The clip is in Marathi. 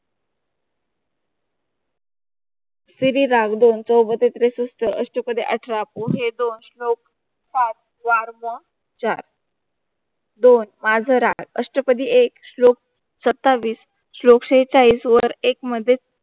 श्री रागदों चौबते त्रिशिष्ट, अष्टपदी, अठरा दोहे, दोन श्लोक, दोन माजोरा, अष्टपदी एक, श्लोक सत्तावीस, श्लोक सेहचाळीस वर एकमध्ये